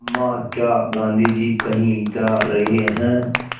अम्मा क्या गाँधी जी कहीं जा रहे हैं